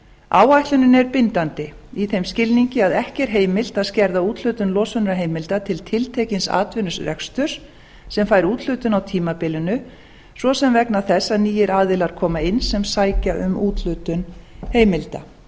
áætlunin er bindandi í þeim skilningi að ekki er heimilt að skerða úthlutun losunarheimilda til tiltekins atvinnurekstri sem fær úthlutun á tímabilinu svo sem vegna þess að nýir aðilar koma inn sem sækja um úthlutun heimilda